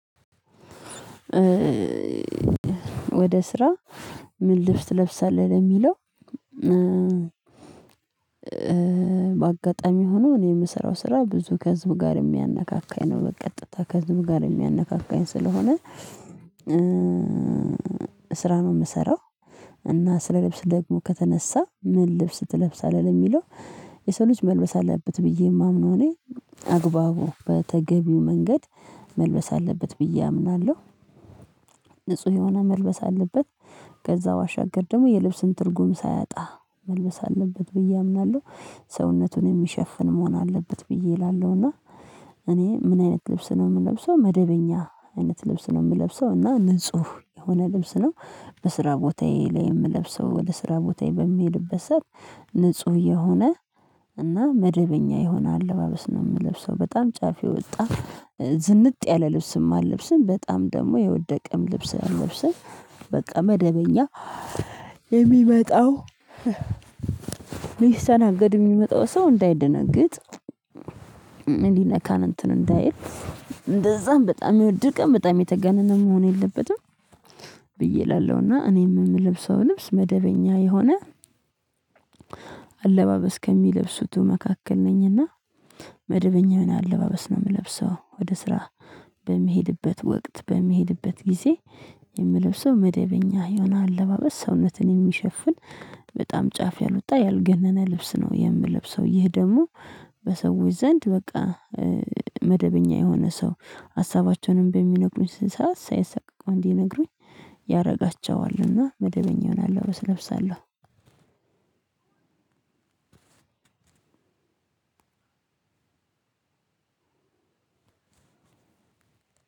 ወደ ስራ ምን ልብስ ትለብሳለሁ የሚለው? በአጋጣሚ ሆኖ እኔ የምሰራው ስራ ብዙ ከህዝብ ጋር የሚያነካካኝ ነው በቀጥታ ከህዝብ ጋር የሚያነካካኝ ስለሆነ ስራ ነው የምሰራው። እና ስለ ልብስ ደግሞ ከተነሳ ምን ልብስ ትለብሳለህ የሚለው የሰው ልጅ መልበስ አለበት ብዬ የማምነው እኔ አግባቡ በተገቢው መንገድ መልበስ አለበት ብዬ አምናለሁ። ንጹህ የሆነ መልበስ አለበት ከዛ ባሻገር ደግሞ የልብስን ትርጉም ሳያጣ መልበስ አለበት ብዬ አምናለሁ። ሰውነቱን የሚሸፍን መሆን አለበት ብዬ እላለሁ እና። እኔ ምን አይነት ልብስ ነው የምለብሰው መደበኛ አይነት ልብስ ነው የምለብሰው እና ንጹህ የሆነ ልብስ ነው። በስራ ቦታዬ ላይ የምለብሰው ወደ ስራ ቦታዬ በሚሄድበት ሰዓት ንጹህ የሆነ እና መደበኛ የሆነ አለባበስ ነው የምለብሰው በጣም ጫፍ የወጣ ዝንጥ ያለ ልብስም አለብስም በጣም ደግሞ የወደቀም ልብስ አለብስም በቃ መደበኛ። የሚመጣው ሊስተናገድ የሚመጣው ሰው እንዳይደነግጥ ምን ይነካን እንትን እንዳይል እንደዛም በጣም የወደቀም በጣም የተገነነ መሆን የለበትም። ብዬ እላለሁና እኔም የምለብሰው ልብስ መደበኛ የሆነ አለባበስ ከሚለብሱት መካከል ነኝና። መደበኛ የሆነ አለባበስ ነው የምለብሰው ወደ ስራ በሚሄድበት ወቅት በሚሄድበት ጊዜ የምለብሰው መደበኛ የሆነ አለባበስ ሰውነትን የሚሸፍን በጣም ጫፍ ያልወጣ ያልገነነ ልብስ ነው የምለብሰው። ይህ ደግሞ በሰዎች ዘንድ በቃ መደበኛ የሆነ ሰው ሀሳባቸውንም በሚነግሩኝ ሰዓት ሳይሳቀቁ እንዲነግሩኝ ያደርጋቸዋልና መደበኛ ይሆናል ወይ እለብሳለሁ። አንድ